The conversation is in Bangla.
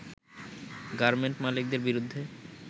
গার্মেন্ট মালিকদের বিরুদ্ধে